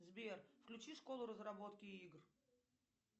сбер включи школу разработки игр